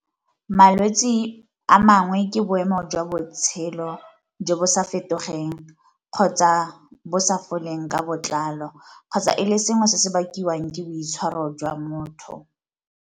Malwetsi a mangwe ke boemo jwa botshelo jo bo sa fetogeng kgotsa bo sa foleng ka botlalo, kgotsa e le sengwe se se bakiwang ke boitshwaro jwa motho.